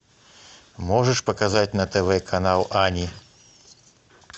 можешь показать на тв канал ани